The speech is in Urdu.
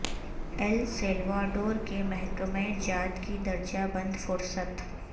ایل سیلواڈور کے محکمہ جات کی درجہ بند فہرست